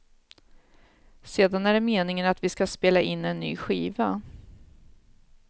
Sedan är det meningen att vi ska spela in en ny skiva.